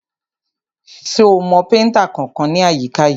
Ṣo mọ péntà kankan ní àyíká yìí?